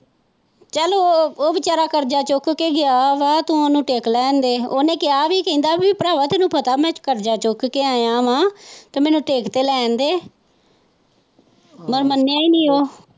ਚੱਲ ਉਹ ਵਿਚਾਰਾਂ ਕਰਜ਼ਾ ਚੁੱਕ ਕੇ ਗਿਆ ਵਾ ਤੋਂ ਉਹਨੂੰ ਟਿੱਕਾ ਤੇ ਲੈਣ ਦੇ ਉਹਨੇ ਕਹਿਆ ਵੀ ਕਹਿੰਦਾ ਭਰਾਵਾਂ ਤੈਨੂੰ ਪਤਾ ਵਾ ਕੀ ਮੈਂ ਕਰਜ਼ਾ ਚੁੱਕ ਆਇਆ ਵਾ ਮੈਨੂੰ ਟਿੱਕ ਤੇ ਲੈਣ ਦੇ ਪਰਮਾਨਿਆ ਹੀ ਨਹੀਂ ਉਹ।